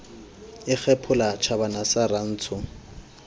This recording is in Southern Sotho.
e kgephola tjhabana sa rantsho